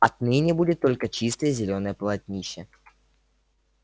отныне будет только чистое зелёное полотнище